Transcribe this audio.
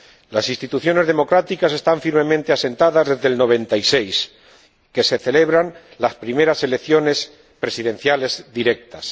Las instituciones democráticas están firmemente asentadas desde 1996, cuando se celebraron las primeras elecciones presidenciales directas.